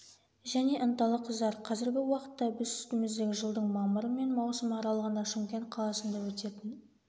және ынталы қыздар қазіргі уақытта біз үстіміздегі жылдың мамыры мен маусымы аралығында шымкент қаласында өтетін